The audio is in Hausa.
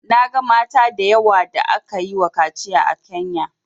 Na ga mata da yawa da aka yi wa kaciya a Kenya